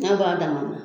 N'a ba dama na